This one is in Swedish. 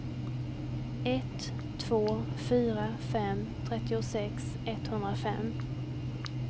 ett två fyra fem trettiosex etthundrafem